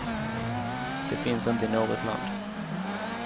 Det finns inte i något land.